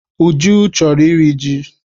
Uju chọrọ iri ji.